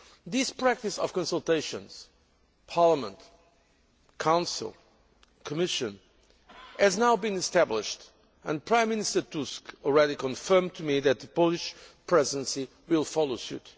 This practice of consultations Parliament, Council, Commission has now been established, and Prime Minister Tusk has already confirmed to me that the Polish Presidency will follow suit.